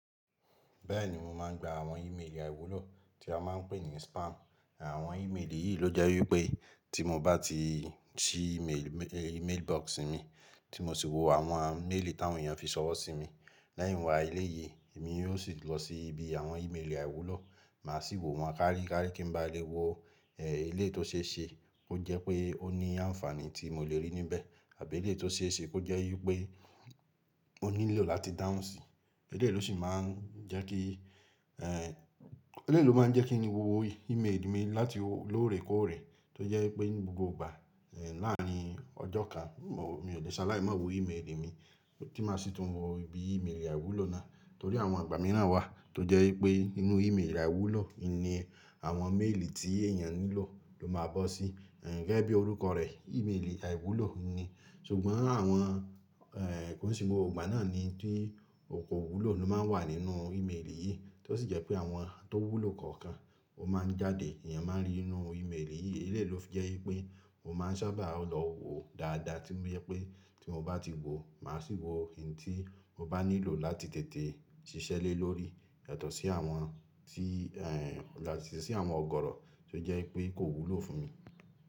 Bẹ́ẹ̀ni mo máa ń gba àwọn ìméèlì àìwúlò tí a máa ń pè ní spam. Àwọn ìméèlì yìí ló jẹ́ wípé tí mo bá ti ṣí ìméèlì mailbox mi tí mo sì wo àwọn méèlì tí àwọn èèyàn fi sọ̀rọ̀ sí mi. Leìyin wá ilé yìí, èmi yóò sì lọ sí ibi àwọn ìméèlì àìwúlò, màá sì wo wọn káríkári kí n ba lè wo èléyi tó ṣe é ṣe kó jẹ́ pé ó ní ànfàní tí mo lè rí níbẹ̀ àbí èlé tó ṣe é ṣe kó jẹ́ wípé ó nílò láti dánsì. Èléyi ló sì máa ń jẹ́ kí, èé, èlé ló máa ń jẹ́ kí ni wo ìméèlì mi láti lóòrèkóòrè tó jẹ́ pé gbogbo ìgbà, èé, láàárín ọjọ́ kan, mò, mi ò lè ṣaláì máa wo ìméèlì mi. Kí má sì tún wo ibi ìméèlì àìwúlò náà torí àwọn àgbámíràn wà tó jẹ́ wípé inú ìméèlì àìwúlò ni àwọn méèlì tí èèyàn nílò ló máa bọ́ sí. Gẹ́gẹ́ bí orúkọ rẹ̀ ìméèlì àìwúlò ni. Ṣùgbọ́n àwọn, kò sì gbogbo ìgbà náà ni tí oko wúlò ló máa ń wà nínú ìméèlì yìí, tó sì jẹ́ pé àwọn tó wúlò kọ̀ọ̀kan ó máa ń jáde èèyàn máa rí nínú ìméèlì yìí. Èléyi ló fi jẹ́ wípé mo máa ń sábà lọ wo dáadáa tí ó jẹ́ wípé tí mo bá ti wo, màá sì wo eyín tí mo bá nílò láti tètè ṣiṣẹ́ le lórí yàtọ̀ sí àwọn tí, yàtọ̀ sí àwọn ọ̀gọ̀rọ̀ tó jẹ́ wípé kò wúlò fún mi.